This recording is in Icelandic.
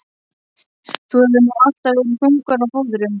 Þú hefur nú alltaf verið þungur á fóðrum.